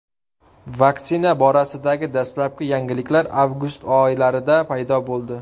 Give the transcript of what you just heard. Vaksina borasidagi dastlabki yangiliklar avgust oylarida paydo bo‘ldi.